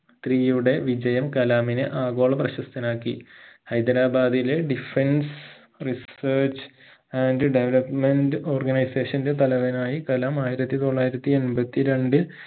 three യുടെ വിജയം കലാമിനെ ആഗോള പ്രശസ്തനാക്കി ഹൈദരാബാദിലെ defence research and development organisation ന്റെ തലവനായി കലാം ആയിരത്തി തൊള്ളായിരത്തി എൺപത്തി രണ്ടിൽ